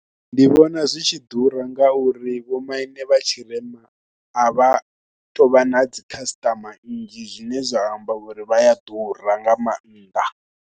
Ndi vhona zwi tshi ḓura ngauri vhomaine vha tshirema a vha tou vha na dzi khasiṱama nnzhi zwine zwa amba uri vha ya ḓura nga maanḓa.